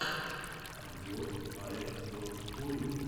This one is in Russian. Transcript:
обзор аирсофтфорю